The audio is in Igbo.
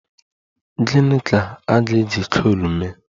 Gịni ka a ga-eji coal mee?